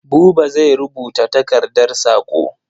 Buba zai rubuta takardar saƙo.